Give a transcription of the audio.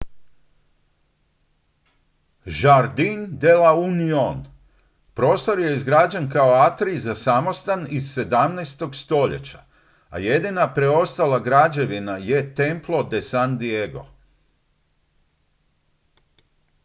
jardín de la unión. prostor je izgrađen kao atrij za samostan iz 17. stoljeća a jedina preostala građevina je templo de san diego